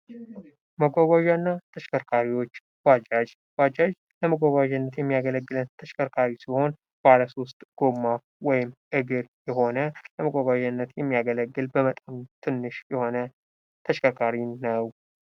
መጓጓዣ እና ተሽከርካሪዎች ባጃጅ ባጃጅ ለመጓጓዣነት የማያገለግለን ተሽከርካሪ ሲሆን፤ ባለ 3 ጎማ ወይም እግር የሆነ ለመጓጓዣነት የሚያገለግል በመጠኑ ትንሽ የሆነ ተሽከርካሪ ነው።